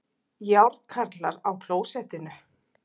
Járnkarlar á klósettinu